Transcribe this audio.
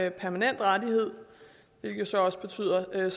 en permanent rettighed hvilket så også betyder at